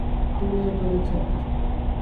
Tole je pa recept.